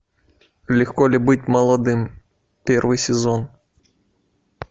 легко ли быть молодым первый сезон